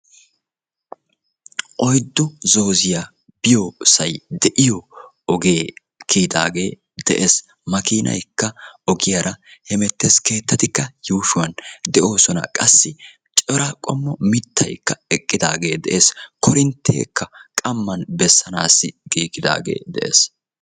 Oyddu zooziya biyossay deiyo ogee kiyidaagee de'ees. Makkinaaykka ogiyaara hemettees, keettatikka yuushshuwan de'oosona. Qassi cora qommo mittaykka eqqidaagee de'ees qassi korintteekka qamman bessanaagee giigidaagee de'ees